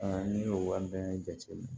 n'i y'o wari bɛɛ jate minɛ